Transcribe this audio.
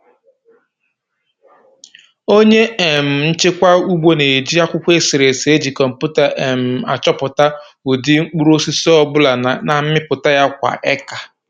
Onye um njikwa ugbo na-eji akwụkwọ eserese eji kọmputa um achọpụta ụdị mkpụrụosisi ọ bụla na mmịpụta ya kwa eka. um